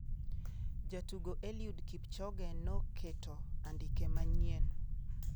Jatugo Eliud Kipchoge noketo andike manyien